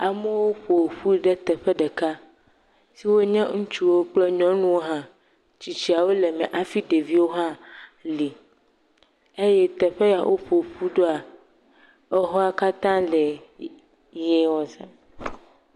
Amewo ƒoƒu ɖe teƒe ɖeka siwo nye ŋutsuwo kple nyɔnuwo hã. Tsitsiawo le em hafi ɖeviwo hã li eye teƒe ya woƒoƒu ɖoa exɔa katã le ʋie ɔ sam.